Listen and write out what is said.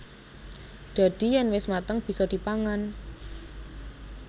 Dadi yèn wis mateng bisa dipangan